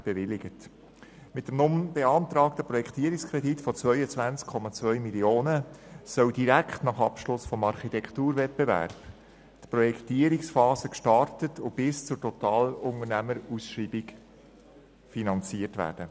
Mit dem nun beantragten Projektierungskredit von 22,2 Mio. Franken soll direkt nach Abschluss des Architekturwettbewerbs die Projektierungsphase gestartet und diese bis zur Totalunternehmerausschreibung finanziert werden.